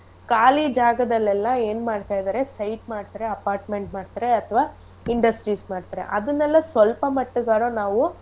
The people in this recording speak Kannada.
ಖಾಲಿ ಜಾಗದಲ್ಲೆಲ್ಲ ಏನ್ ಮಾಡ್ತಾ ಇದಾರೆ site ಮಾಡ್ತಾರೆ apartment ಮಾಡ್ತಾರೆ ಅಥ್ವಾ industries ಮಾಡ್ತಾರೆ ಅದುನ್ನೆಲ್ಲ ಸ್ವಲ್ಪ ಮಟ್ಗಾರ ನಾವೂ.